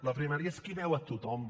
la primària és qui veu a tothom